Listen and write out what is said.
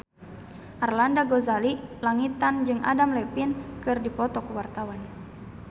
Arlanda Ghazali Langitan jeung Adam Levine keur dipoto ku wartawan